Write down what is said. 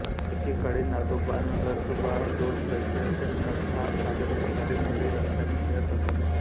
एके काळी नागोबानरसोबा दोन पैसे असे म्हणत हा कागद विकणारी मुले रस्त्याने फिरत असत